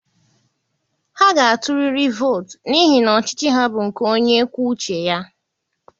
Ha ga-atụrịrị vootu n'ihi na ọchịchị ha bụ nke onye kwuo uche ya.